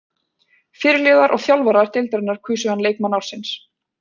Fyrirliðar og þjálfarar deildarinnar kusu hann leikmann ársins.